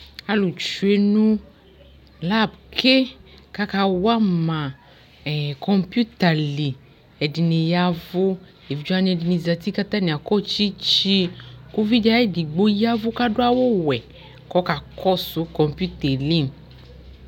alʋ twɛnʋ lab kʋ aka wama computer li, ɛdini yavʋ, ɛvidzɛ wani ɛdini zati kʋ atani akɔ tsitsi kʋ ʋvidi ayi digbɔ yavʋ kʋ adʋ awʋ wɛ kʋ ɔkakɔsʋ computer li